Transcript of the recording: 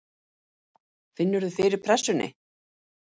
Finnur þú fyrir pressunni?